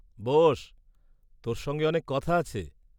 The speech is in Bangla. বোস্, তোর সঙ্গে অনেক কথা আছে।